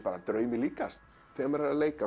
draumi líkast þegar maður er að leika